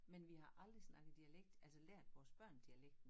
Men vi har aldrig snakket dialekt altså lært vores børn dialekten